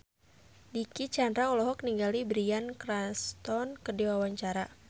Dicky Chandra olohok ningali Bryan Cranston keur diwawancara